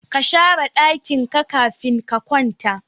kashare dakin ka kafin ka kwata